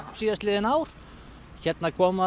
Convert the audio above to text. síðastliðin ár hérna koma